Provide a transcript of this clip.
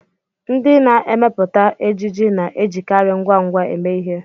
Ndị na-emepụta ejiji na-ejikarị ngwa ngwa eme ihe